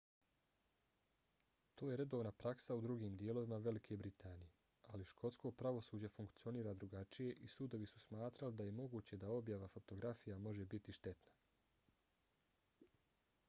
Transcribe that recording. to je redovna praksa u drugim dijelovima velike britanije ali škotsko pravosuđe funkcionira drugačije i sudovi su smatrali da je moguće da objava fotografija može biti štetna